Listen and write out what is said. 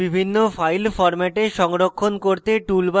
image বিভিন্ন file ফরম্যাটে সংরক্ষণ করতে: